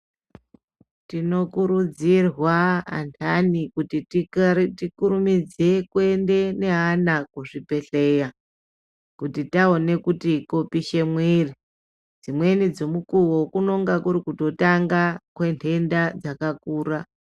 Tinokurudzirwa antani kuti kare tikurumidze kuenda neana kuzvibhehleya kuti taone kuti kopishe mwiri dzimweni dzemukuwo kunenge kuri kutotanga kwenhenda dzakakura.